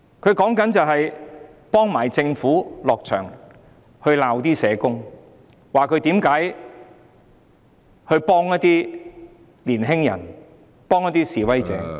他是在幫政府責罵社工，批評他們為何幫助年青人和示威者......